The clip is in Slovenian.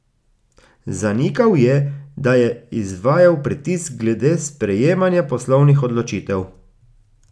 Zanikal je, da je izvajal pritisk glede sprejemanja poslovnih odločitev.